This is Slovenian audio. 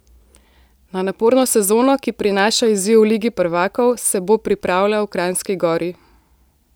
Na naporno sezono, ki prinaša izziv v ligi prvakov, se bo pripravljal v Kranjski Gori.